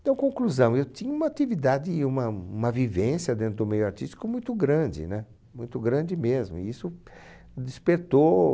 Então, conclusão, eu tinha uma atividade uma uma vivência dentro do meio artístico muito grande, muito grande mesmo, e isso despertou...